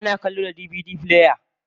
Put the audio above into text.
Ana kallo da DVD player.